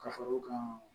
Ka fara o kan